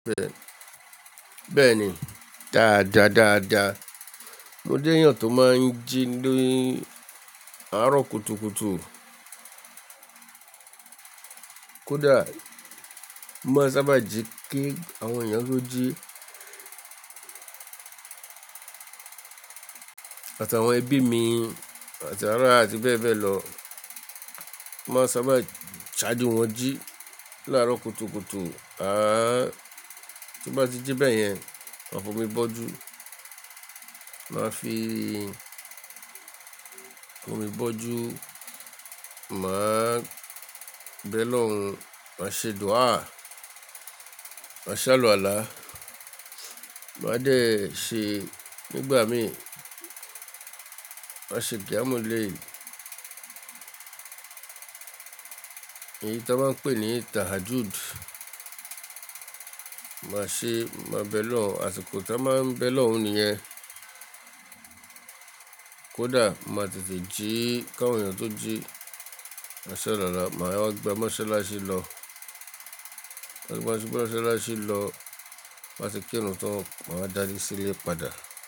Bẹ́ẹ̀ni, dáadáa dáadáa. Mo jéyàn tó máa ń jí ni àárọ̀ kùtùkùtù. Kódà, mo máa ń sábà jí kí àwọn èèyàn tó jí àtàwọn ẹbí mi, àtàwọn ará àti bẹ́ẹ̀ bẹ́ẹ̀ lọ. Mo máa ń sábà ṣaju wọ́n jí láàárọ̀ kùtùkùtù. À tí bá jí bẹ́ẹ̀ yẹn, ma fọ̀ mi bọ́jú. Màá fi omi bọ́jú, màá bẹ̀ lọ́hun, màá ṣe dúà, màá ṣálàwọ àlá, màá dé ṣe nígbà mi, màá ṣe qiyamullail, èyí tí wọ́n ń pè ní tahajjud. Màá ṣe, màá bẹ̀ lọ́hun, àsìkò tí a máa ń bẹ̀ lọ́hun nìyẹn. Kódà màá tètè jí kí àwọn èyàn tó jí má ṣẹ́ lára, màá wá gbe, moṣẹ́áṣẹ lọ. Lẹ́ṣẹ̀ bá ń ṣubú, másalashi lọ, ti n ba ti kí irun tan má wa dáju sílẹ̀ padà.